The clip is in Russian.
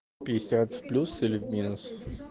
пятьдесят в плюс или в минус